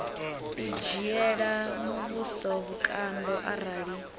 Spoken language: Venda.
u dzhiela muvhuso vhukando arali